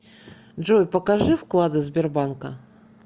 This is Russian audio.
джой покажи вклады сбербанка